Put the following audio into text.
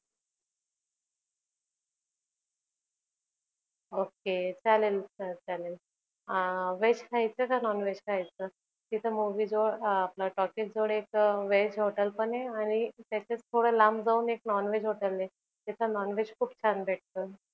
okay चालेल चालेल अं veg खायचं कि non veg खायचं? तिथ movies जवळ talkiz जवळ एक एक veg hotwl पण आहे आणि त्याच्याच थोड लांब जाऊन non veg hotel पण आहे तिथ खूप खूप भेटत.